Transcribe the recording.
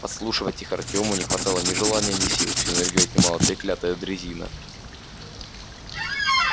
подслушивать их артёму не хватало ни желания ни сил всю энергию отнимала треклятая дрезина